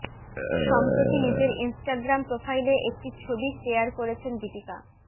সম্প্রতি নিজের ইনস্টাগ্রাম প্রোফাইলে একটি ছবি শেয়ার করেছেন দীপিকা